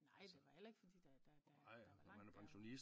Nej det var heller ikke fordi der der der er der var langt derop